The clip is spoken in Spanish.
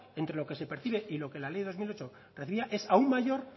entre lo que se percibe y lo que la ley dos mil ocho recibía es aún mayor